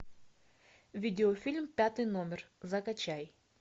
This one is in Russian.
видеофильм пятый номер закачай